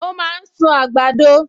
O máa ń sún àgbàdo